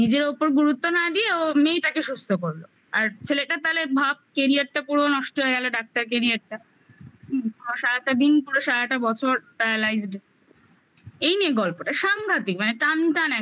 নিজের ওপর গুরুত্ব না দিয়ে ও মেয়েটাকে সুস্থ করলো আর ছেলেটার তালে ভাব career টা পুরো নষ্ট হয়ে গেলো doctor career -টা হুম সারাটা দিন পুরো সারাটা বছর paralyzed এই নিয়ে গল্পটা সাংঘাতিক মানে টানটান একদম